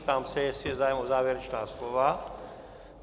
Ptám se, jestli je zájem o závěrečná slova.